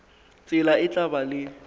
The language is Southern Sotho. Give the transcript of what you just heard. tsela e tla ba le